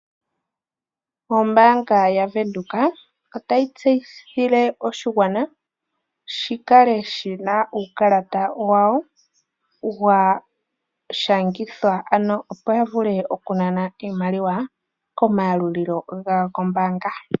Ombaanga yaWindhoek otayi tseyithile oshigwana shikale shina uukalata wawo washangithwa opo yavule okunana iimaliwa komayalulilo gawo gombaanga.